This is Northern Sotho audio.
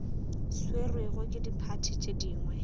swerwego ke diphathi tše dingwe